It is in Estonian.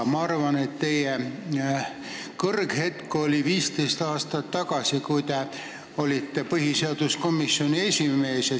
Ma arvan, et teie kõrghetk oli 15 aastat tagasi, kui te olite põhiseaduskomisjoni esimees.